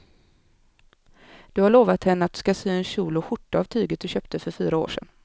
Du har lovat henne att du ska sy en kjol och skjorta av tyget du köpte för fyra år sedan.